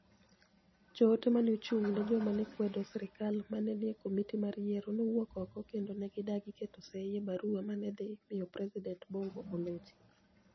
Joote ma ni e ochunig ' ni e joma ni e kwedo sirkal ma ni e niie Komiti mar Yiero nowuok oko kenido ni e gidagi keto sei e barua ma ni e dhi miyo Presidenit Bonigo olochi.